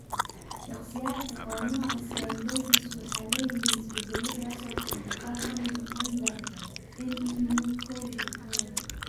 Shakhsiyaadka qaba nooca sialidosis waxaan leeyahay isbeddello taasoo keenta qaar ka mid ah enzyme NEU koow shaqeeya.